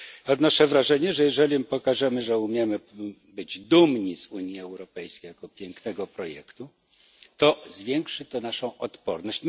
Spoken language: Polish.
Odnoszę wrażenie, że jeżeli my pokażemy, że umiemy być dumni z Unii Europejskiej jako pięknego projektu, to zwiększy to naszą odporność.